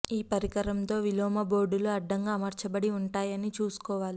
ఈ పరికరం తో విలోమ బోర్డులు అడ్డంగా అమర్చబడి ఉంటాయి అని చూసుకోవాలి